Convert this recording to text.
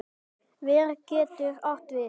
Ver getur átt við